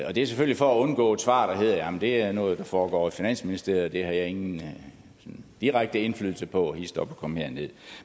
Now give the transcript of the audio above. og det er selvfølgelig for at undgå et svar der hedder det er noget der foregår finansministeriet og det har jeg ingen direkte indflydelse på og kom hist op og kom her nederst